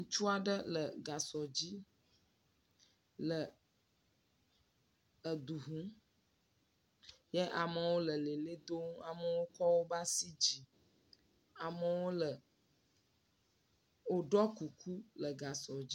Ŋutsu aɖe le gasɔ dzi le edu ŋum yɛ amewo lɛ lɛ ʋli dom. Amewo kɔ wobe asi dzi. Amewo lɛ, wòɖɔ kuku le gasɔ dzi